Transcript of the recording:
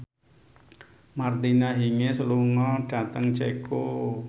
Martina Hingis lunga dhateng Ceko